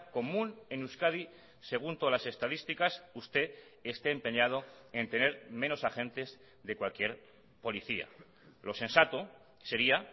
común en euskadi según todas las estadísticas usted esté empeñado en tener menos agentes de cualquier policía lo sensato sería